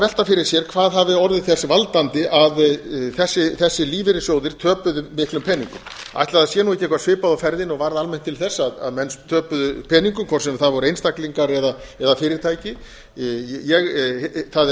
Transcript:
velta fyrir sér hvað hafi orðið þess valdandi að þessir lífeyrissjóðir töpuðu miklum peningum ætli það sé ekki eitthvað svipað á ferðinni og varð almennt til þess að menn töpuðu peningum hvort sem það voru einstaklingar eða fyrirtæki það er